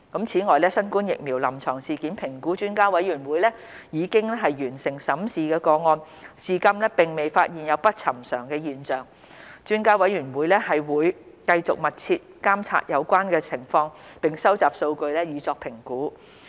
此外，新冠疫苗臨床事件評估專家委員會已完成審視的個案，至今並未發現有不尋常的現象，專家委員會會繼續密切監察有關情況並收集數據以作評估。